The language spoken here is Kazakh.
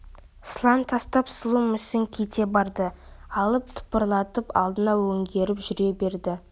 сылаң тастап сұлу мүсін кете барды алып тыпырлатып алдына өңгеріп жүре берді